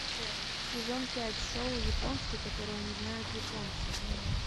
сезон пять шоу японский которого не знают японцы